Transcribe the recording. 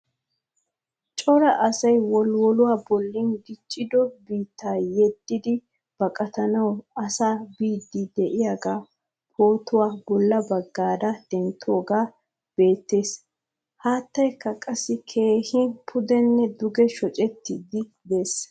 Cora asay wolwoluwaa bollan diccido biitta yedidi baqqattawu asasa biidi de'iyaga pootuwa bolla baggara denttoge beettees. Haattaykka qassi keehin pudene duge shoccettidi de'ees.